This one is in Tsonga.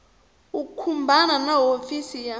u khumbana na hofisi ya